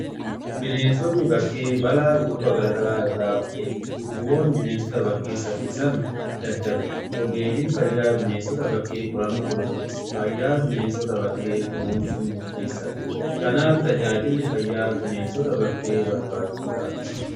Bineensonni bakkee bala dhukkuba garagaraa irraa of eegu. Dhukkuboonni bineensota bakkee saffisan daddaru ogeeyyin fayyaa bineensota bakkee qorannoo gaggeessu fayyaan bineessota bakkee kunuunsun mufteessa dha. Kanaaf tajaajilli fayyaa bineensota bakkee barbaachisaa dha.